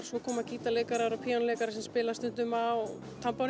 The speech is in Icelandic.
svo koma gítarleikarar og píanóleikarar sem spila stundum á